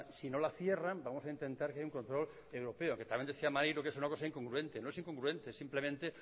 si no la cierran vamos a intentar que haya un control europeo que también decía maneiro que es una cosa incongruente no es incongruente simplemente